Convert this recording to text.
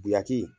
Guyaki